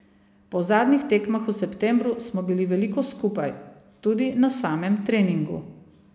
Po zadnjih tekmah v septembru smo bili veliko skupaj, tudi na samem treningu.